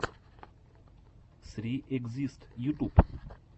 сри экзист ютуб